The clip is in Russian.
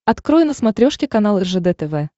открой на смотрешке канал ржд тв